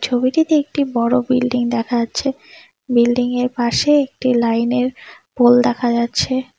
ছবিটিতে একটি বড়ো বিল্ডিং দেখা যাচ্ছে বিল্ডিং -এর পাশে একটি লাইন -এর পোল দেখা যাচ্ছে।